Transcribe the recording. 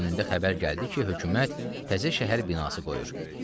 günününə xəbər gəldi ki, hökumət təzə şəhər binası qoyur.